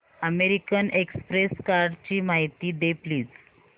American Express कार्डची माहिती दे प्लीज